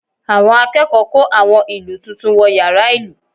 Àwọn akẹ́kọ̀ọ́ kó àwọn ìlù tuntun wọ yàrá ìlù